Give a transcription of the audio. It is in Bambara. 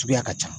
Suguya ka ca